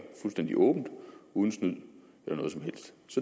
fuldstændig åbent uden snyd